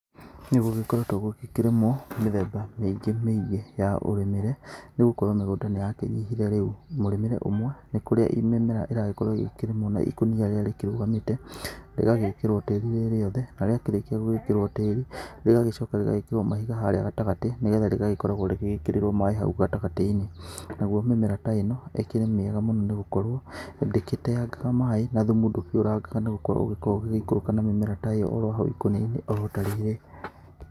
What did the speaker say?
Nĩgũgĩkoretwo gũgĩkĩrĩmwo mĩthemba mĩingĩ mĩingĩ ya ũrĩmĩre, nĩgũkorwo mĩgũnda nĩyakĩnyihire rĩu. Mũrĩmĩre ũmwe, nĩ kũrĩa mĩmera ĩragĩkorwo ĩgĩkĩrĩmwo na ikũnia rĩrĩa rĩgĩkĩrũgamĩte. Rĩgagĩkĩrwo tĩri rĩ rĩothe, na rĩakĩrĩkia gũgĩkĩrwo tĩri, rĩgagĩcoka rĩgagĩkĩrwo mahiga harĩa gatagatĩ. Nĩgetha rĩgagĩkoragwo rĩgĩkĩrĩrwo maĩ hau gatagatĩ-inĩ. Naguo mĩmera ta ĩno, ĩkĩrĩ mĩega mũno nĩgũkorwo ndĩkĩteangaga maĩ, na thumu ndũkĩũrangaga nĩgũkorwo ũgĩkoragwo ũgĩgĩikũrũka na mĩmera ta ĩyo oro hau ikũnia-inĩ oro ta rĩrĩ.